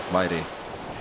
væri